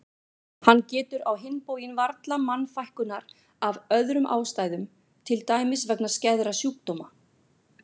Hann getur á hinn bóginn varla mannfækkunar af öðrum ástæðum til dæmis vegna skæðra sjúkdóma.